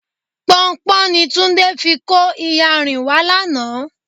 Pọnpọ́n ni Túndé fi kó iyanrìn wá lánàá.